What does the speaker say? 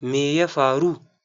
Me ya faru?